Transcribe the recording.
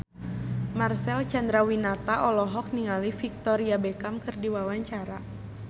Marcel Chandrawinata olohok ningali Victoria Beckham keur diwawancara